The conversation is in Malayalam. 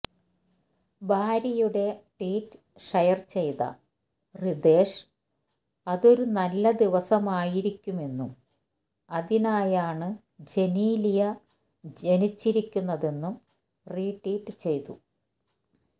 ഭാര്യയുടെ ട്വീറ്റ് ഷെയർ ചെയ്ത റിതേഷ് അതൊരു നല്ല ദിവസമായിരിക്കുമെന്നും അതിനായാണ് ജനീലിയ ജനിച്ചിരിക്കുന്നതെന്നും റീട്വീറ്റ് ചെയ്തു